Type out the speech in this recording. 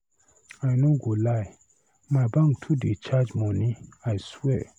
I no go lie, my bank too dey charge money, I swear.